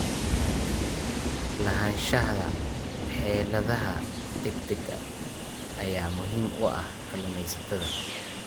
Lahaanshaha xeeladaha degdega ah ayaa muhiim u ah kalumestayasha.